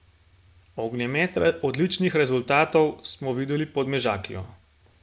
Ognjemet odličnih rezultatov smo videli pod Mežakljo.